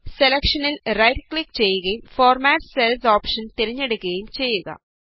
സെലക്ഷനില് right click ചെയ്യുകയും format cells option തിരഞ്ഞെടുക്കുകയും ചെയ്യുക